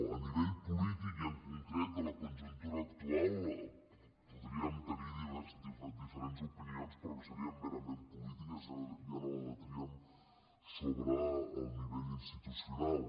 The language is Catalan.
a nivell polític i en concret de la conjuntura actual podríem tenir diferents opinions però que serien merament polítiques i ja no debatríem sobre el nivell institucional